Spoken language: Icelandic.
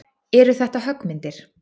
Eru þetta höggmyndir?